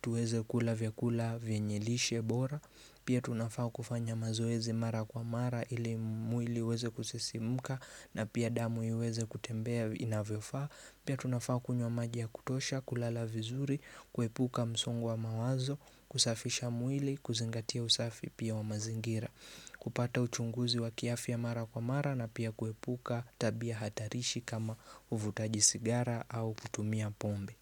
tuweze kula vyakula vyenye lishe bora Pia tunafaa kufanya mazoezi mara kwa mara ili mwili uweze kusisimka na pia damu iweze kutembea inavyofaa Pia tunafaa kunywa maji ya kutosha, kulala vizuri, kuepuka msonga wa mawazo, kusafisha muili, kuzingatia usafi pia wa mazingira kupata uchunguzi wa kiafya mara kwa mara na pia kuepuka tabia hatarishi kama uvutaji sigara au kutumia pombe.